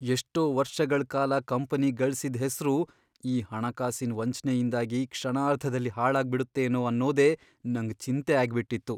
ಎಷ್ಟೋ ವರ್ಷಗಳ್ ಕಾಲ ಕಂಪನಿ ಗಳ್ಸಿದ್ ಹೆಸ್ರು ಈ ಹಣಕಾಸಿನ್ ವಂಚ್ನೆಯಿಂದಾಗಿ ಕ್ಷಣಾರ್ಧದಲ್ಲಿ ಹಾಳಾಗ್ಬಿಡುತ್ತೇನೋ ಅನ್ನೋದೇ ನಂಗ್ ಚಿಂತೆ ಆಗ್ಬಿಟ್ಟಿತ್ತು.